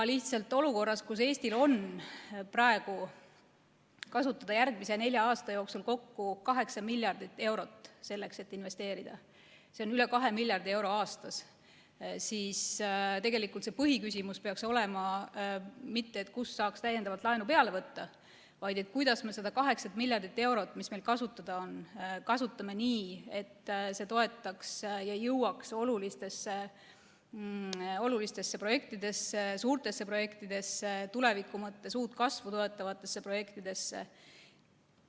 Lihtsalt olukorras, kus Eestil on praegu kasutada järgmiseks neljaks aastaks kokku 8 miljardit eurot selleks, et investeerida – see on üle 2 miljardi euro aastas –, ei peaks põhiküsimus olema mitte see, kust saaks täiendavalt laenu võtta, vaid see, kuidas me saame seda 8 miljardit eurot, mis meil kasutada on, kasutada nii, et see jõuaks olulistesse suurtesse projektidesse ja tuleviku mõttes uut kasvu toetavatesse projektidesse.